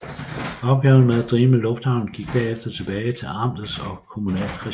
Opgaven med at drive lufthavnen gik derefter tilbage til amtsligt og kommunalt regi